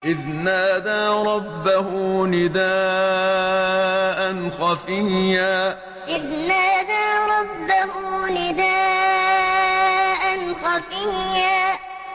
إِذْ نَادَىٰ رَبَّهُ نِدَاءً خَفِيًّا إِذْ نَادَىٰ رَبَّهُ نِدَاءً خَفِيًّا